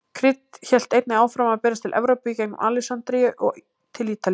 Krydd hélt einnig áfram að berast til Evrópu í gengum Alexandríu og til Ítalíu.